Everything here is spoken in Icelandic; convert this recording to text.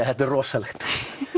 þetta er rosalegt